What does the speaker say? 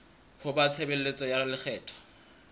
ho ba tshebeletso ya lekgetho